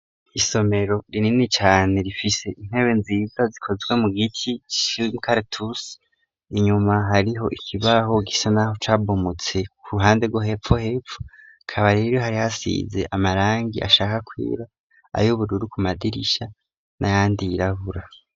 Isomero rinini cane rifise intebe nziza zikozwe mu giti c'umukaratusi inyuma hariho ikibaho gisa n'aho cabomotse ku ruhande rwo hepfo hepfo hakaba hari hasize amarangi ashaka kwera ay'ubururu ku madirisha n'ayandi yirabura.